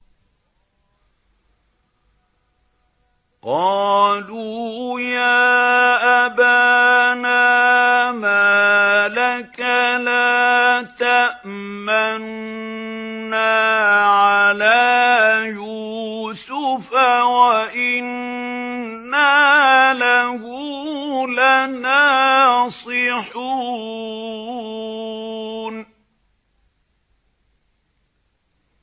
قَالُوا يَا أَبَانَا مَا لَكَ لَا تَأْمَنَّا عَلَىٰ يُوسُفَ وَإِنَّا لَهُ لَنَاصِحُونَ